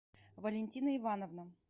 валентина ивановна